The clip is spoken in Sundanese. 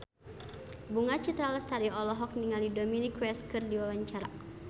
Bunga Citra Lestari olohok ningali Dominic West keur diwawancara